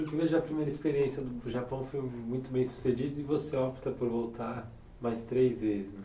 E pelo que vejo, a primeira experiência do Japão foi muito bem sucedida e você opta por voltar mais três vezes, né?